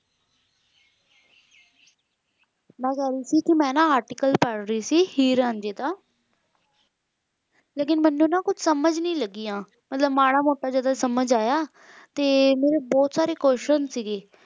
ਮੈਂ ਕਹਿ ਰਹੀ ਸੀ ਕੀ ਮੈਂ ਨਾ article ਪੜ੍ਹ ਰਹੀ ਸੀ ਹੀਰ ਰਾਂਝੇ ਦਾ ਲੇਕਿਨ ਮੈਨੂੰ ਨਾ ਕੁਛ ਸਮਜ ਨੀ ਲੱਗੀਆਂ ਮਤਲਬ ਮਾੜਾ ਮੋਟਾ ਜਿਹੜਾ ਸਮਾਜ ਆਯਾ ਤੇ ਮੇਰੇ ਬਹੁਤ ਸਾਰੇ question ਸੀਗੇ